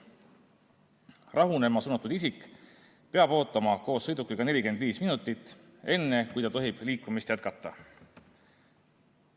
Rahunema suunatud isik peab ootama koos sõidukiga 45 minutit, enne kui ta tohib liikumist jätkata.